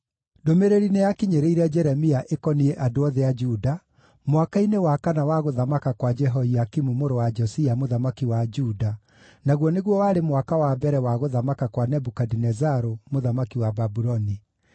Ndũmĩrĩri nĩyakinyĩrĩire Jeremia ĩkoniĩ andũ othe a Juda, mwaka-inĩ wa kana wa gũthamaka kwa Jehoiakimu mũrũ wa Josia mũthamaki wa Juda, naguo nĩguo warĩ mwaka wa mbere wa gũthamaka kwa Nebukadinezaru mũthamaki wa Babuloni.